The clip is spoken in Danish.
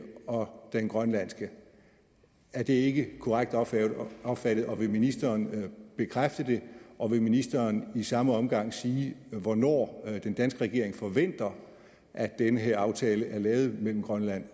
og den grønlandske er det ikke korrekt opfattet opfattet og vil ministeren bekræfte det og vil ministeren i samme omgang sige hvornår den danske regering forventer at den her aftale er lavet mellem grønland